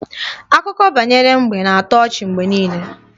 Akụkọ banyere mbe na-atọ ọchị mgbe niile